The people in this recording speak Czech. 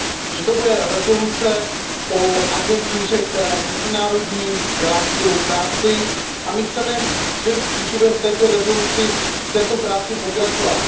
Že to bude rezoluce o agentuře, která je mezinárodní, dělá skvělou práci, a my chceme svým způsobem v této práci pokračovat.